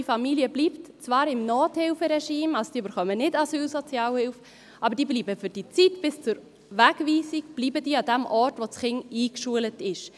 Die Familie bleibt zwar im Nothilferegime, sie bekommen also keine Asylsozialhilfe, aber sie bleiben bis zur Zeit der Wegweisung am Ort, an dem das Kind eingeschult ist.